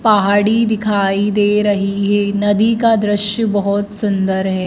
पहाड़ी दिखाई दे रही है नदी का दृश्य बहुत सुंदर है।